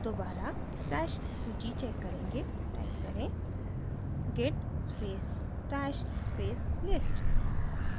दोबारा stash सूची check करेंगे टाइप करें git space stash space list